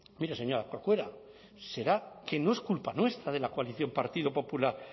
mire señora corcuera será que no es culpa nuestra de la coalición partido popular